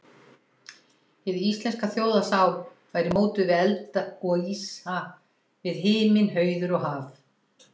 Hin íslenska þjóðarsál væri mótuð við eld og ísa, við himinn, hauður og haf.